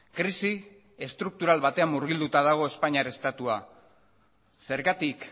krisi estruktural batean murgilduta dago espainiar estatua zergatik